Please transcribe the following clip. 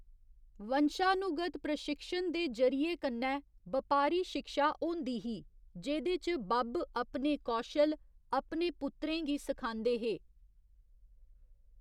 वंशानुगत प्रशिक्षण दे जरिये कन्ने बपारी शिक्षा होंदी ही जेह्‌‌‌दे च बब्ब अपने कौशल अपने पुत्तरें गी सखांदे हे।